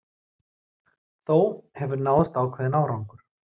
Þó hefur náðst ákveðinn árangur